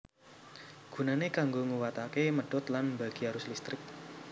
Gunane kanggo nguwatake medhot lan mbagi arus listrik